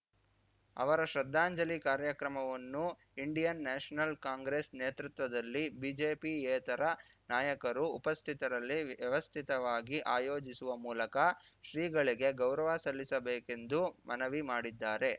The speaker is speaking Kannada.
ಅವರ ಶ್ರದ್ಧಾಂಜಲಿ ಕಾರ್ಯಕ್ರಮವನ್ನು ಇಂಡಿಯನ್‌ ನ್ಯಾಷನಲ್ ಕಾಂಗ್ರೆಸ್‌ ನೇತೃತ್ವದಲ್ಲಿ ಬಿಜೆಪಿಯೇತರ ನಾಯಕರು ಉಪಸ್ಥಿತರಲ್ಲಿ ವ್ಯವಸ್ಥಿತವಾಗಿ ಆಯೋಜಿಸುವ ಮೂಲಕ ಶ್ರೀಗಳಿಗೆ ಗೌರವ ಸಲ್ಲಿಸಬೇಕೆಂದು ಮನವಿ ಮಾಡಿದ್ದಾರೆ